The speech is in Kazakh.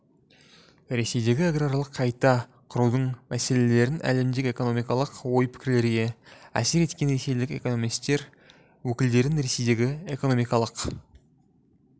ресейдегі аграрлық қайта құрудың мәселелерін әлемдік экономикалық ой-пікірлерге әсер еткен ресейлік экономистер өкілдерін ресейдегі экономикалық